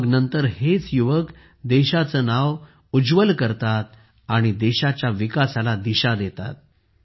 मग नंतर हेच युवक देशाचे नाव मोठे करतात आणि देशाच्या विकासाला दिशा देतात